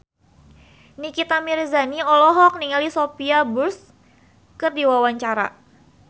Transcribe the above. Nikita Mirzani olohok ningali Sophia Bush keur diwawancara